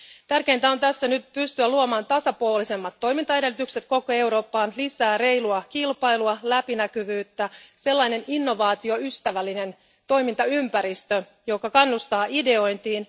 Tärkeintä tässä on pystyä nyt luomaan tasapuolisemmat toimintaedellytykset koko Eurooppaan, lisää reilua kilpailua ja läpinäkyvyyttä ja sellainen innovaatioystävällinen toimintaympäristö, joka kannustaa ideointiin.